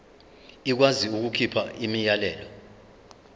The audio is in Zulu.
ikwazi ukukhipha umyalelo